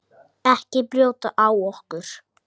Ekki brjóta á okkur.